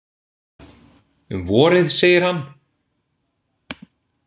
Um vorið, segir hann.